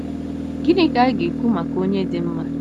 Gịnị ka a ga-ekwu maka onye dị mma?